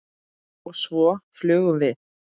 Og svo flugum við.